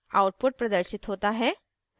output प्रदर्शित होता है